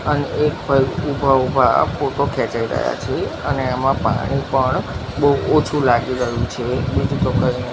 અન એક ભાઈ ઊભા ઊભા આ ફોટો ખેચી રહ્યા છે અને એમા પાણી પણ બો ઓછુ લાગી રહ્યુ છે બીજુ તો કઇ ની.